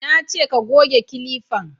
Na ce ka goge kilifan!